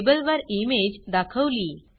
लेबलवर इमेज दाखवली